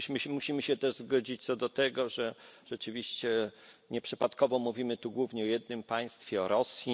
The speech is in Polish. Musimy się też zgodzić co do tego, że rzeczywiście nieprzypadkowo mówimy tu głównie o jednym państwie o Rosji.